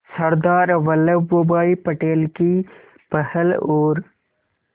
सरदार Vallabhbhai Patel की पहल और